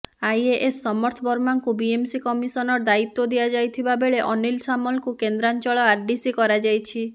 IAS Samarth ବର୍ମାଙ୍କୁ BMC commissioner ଦାୟିତ୍ୱ ଦିଆଯାଇଥିବା ବେଳେ ଅନୀଲ ସାମଲଙ୍କୁ କେନ୍ଦ୍ରାଞ୍ଚଳ ଆରଡିସି କରାଯାଇଛି